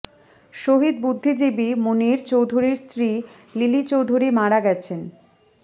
শহীদ বুদ্ধিজীবী মুনীর চৌধুরীর স্ত্রী লিলি চৌধুরী মারা গেছেন